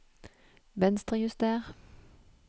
Venstrejuster